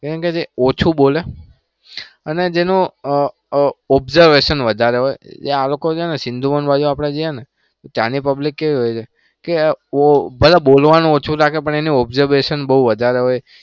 એમ કે જે ઓછુ બોલે અને જેનું અ અ observation બઉ વધારે હોય અને આ લોકો સિંધુ વન બાજુ ત્યાંની public કેવી હોય છે કે બધા બોલવાનું ઓછું રાખે પણ એની observation બઉ વધારે હોય કેમ કે જે ઓછુ બોલે.